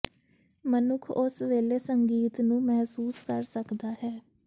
ਮਨੁੱਖ ਉਸ ਵੇਲੇ ਸੰਗੀਤ ਨੂੰ ਮਹਿਸੂਸ ਕਰ ਸਕਦਾ ਹੈ